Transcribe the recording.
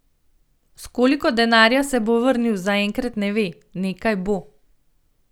S koliko denarja se bo vrnil, zaenkrat ne ve: 'Nekaj bo.